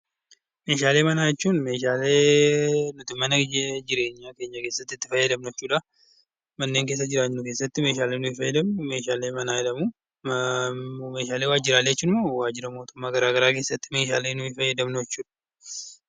Meeshaalee manaa jechuun meeshaalee nuti mana keessatti itti fayyadamnu jechuudha. Manneen keessa jiraannu keessatti meeshaaleen nuti fayyadamnu meeshaalee manaa jedhamu. Meeshaalee waajjiraalee jechuun immoo waajjiraalee mootummaa garaagaraa keessatti kan fayyadamnu jechuudha.